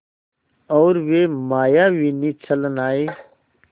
और वे मायाविनी छलनाएँ